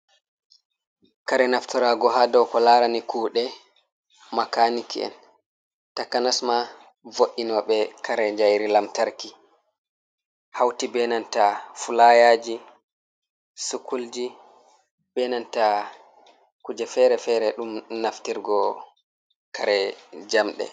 Kare naftarago ha do ko larani kude makaniki'en takanasma vo’inobe kare jairi lamtarki hauti benanta fulayaji, sukulji, benanta kuje fere-fere dum naftirgo kare jamde.